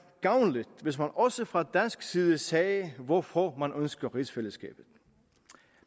gavnligt hvis man også fra dansk side sagde hvorfor man ønsker rigsfællesskabet